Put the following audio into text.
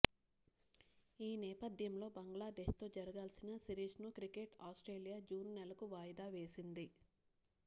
ఈ నేపథ్యంలో బంగ్లాదేశ్తో జరగాల్సిన సిరీస్ను క్రికెట్ ఆస్ట్రేలియా జూన్ నెలకు వాయిదా వేసింది